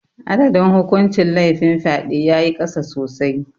Adadin hukuncin laifin fyade ya yi ƙasa sosai.